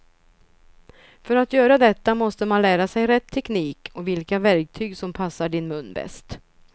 För att göra detta måste man lära sig rätt teknik och vilka verktyg som passar din mun bäst.